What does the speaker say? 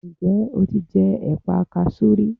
Ǹ jẹ́ o ti jẹ ẹ̀pa kasú rí